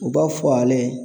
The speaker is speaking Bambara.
U b'a fɔ ale